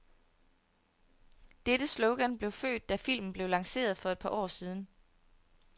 Dette slogan blev født, da filmen blev lanceret for et par år siden.